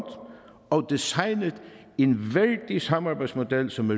og designet en værdig samarbejdsmodel som